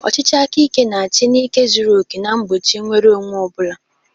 Ọchịchị aka ike na-achị na ike zuru oke na-egbochi nnwere onwe onye ọ bụla.